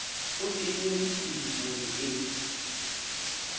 o tennweng ke kedibone e